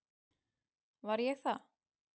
Var ég það?